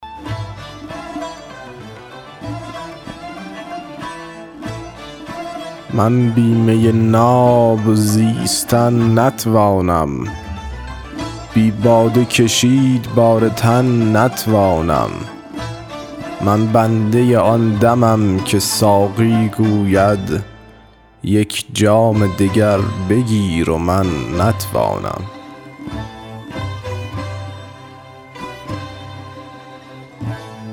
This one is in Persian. من بی می ناب زیستن نتوانم بی باده کشید بار تن نتوانم من بنده آن دمم که ساقی گوید یک جام دگر بگیر و من نتوانم